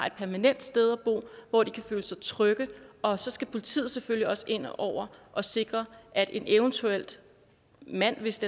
et permanent sted hvor de kan føle sig trygge og så skal politiet selvfølgelig også ind over og sikre at eventuelt en mand hvis